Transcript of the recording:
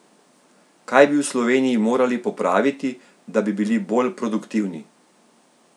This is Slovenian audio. Kaj bi v Sloveniji morali popraviti, da bi bili bolj produktivni?